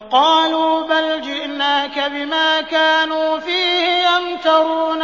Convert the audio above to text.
قَالُوا بَلْ جِئْنَاكَ بِمَا كَانُوا فِيهِ يَمْتَرُونَ